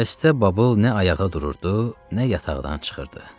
Xəstə Babul nə ayağa dururdu, nə yataqdan çıxırdı.